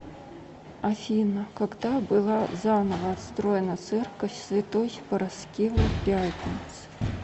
афина когда была заново отстроена церковь святой параскевы пятницы